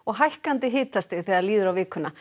hækkandi hitastig þegar líður á vikuna